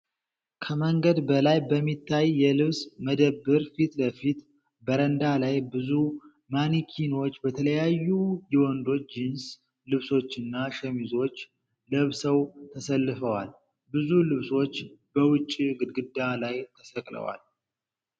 ከመንገድ በላይ በሚታይ የልብስ መደብር ፊት ለፊት በረንዳ ላይ ብዙ ማኒኪኖች በተለያዩ የወንዶች ጂንስ ልብሶችና ሸሚዞች ለብሰው ተሰልፈዋል። ብዙ ልብሶች በውጪ ግድግዳ ላይ ተሰቅለዋል።